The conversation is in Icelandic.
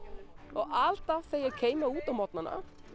og alltaf þegar ég kem út á morgnana